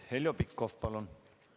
Heljo Pikhof, palun!